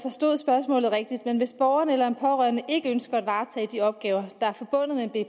forstod spørgsmålet rigtigt men hvis borgeren eller en pårørende ikke ønsker at varetage de opgaver der